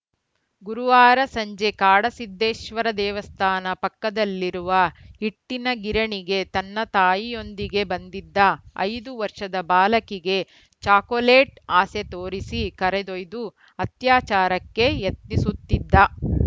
ಗುರುವಾರ ಸಂಜೆ ಕಾಡಸಿದ್ಧೇಶ್ವರ ದೇವಸ್ಥಾನ ಪಕ್ಕದಲ್ಲಿರುವ ಹಿಟ್ಟಿನ ಗಿರಣಿಗೆ ತನ್ನ ತಾಯಿಯೊಂದಿಗೆ ಬಂದಿದ್ದ ಐದು ವರ್ಷದ ಬಾಲಕಿಗೆ ಚಾಕೋಲೇಟ್‌ ಆಸೆ ತೋರಿಸಿ ಕರೆದೊಯ್ದು ಅತ್ಯಾಚಾರಕ್ಕೆ ಯತ್ನಿಸುತ್ತಿದ್ದ